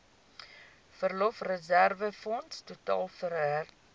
verlofreserwefonds totaal werklik